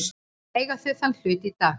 Eiga þau þann hlut í dag.